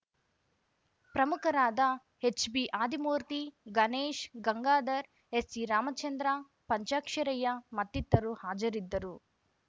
ಪ್ರಮುಖರಾದ H B Adimurthy Ganesh Gangadhar S C Ramachandra Panchaksharayya ಮತ್ತಿತರು ಹಾಜರಿದ್ದರು